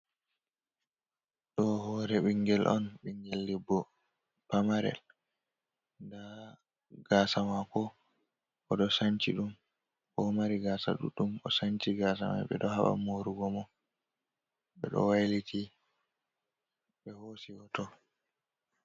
Ɗo hore bingel on bingel debbo pamarel, nda gasa mako o do sanci ɗum, bo oɗo mari gasa ɗuɗɗum, o sanci gasa mai ɓe ɗo haba morugo mo ɓe ɗo wailiti ɓe hosi hoto.